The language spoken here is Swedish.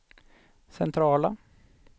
centrala